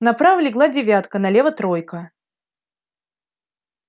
направо легла девятка налево тройка